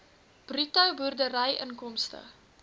bruto boerdery inkomste